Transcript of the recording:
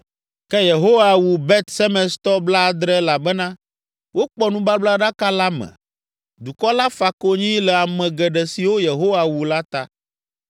Ke Yehowa wu Bet Semestɔ blaadre elabena wokpɔ nubablaɖaka la me. Dukɔ la fa konyi le ame geɖe siwo Yehowa wu la ta.